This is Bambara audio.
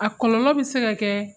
A kɔlɔlɔ be se ka kɛɛ